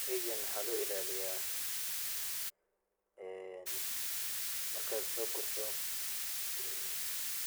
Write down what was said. Sheygan waxaa loo ilaliyaa een markaad soo gurto